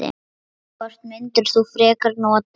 Hvort myndir þú frekar nota?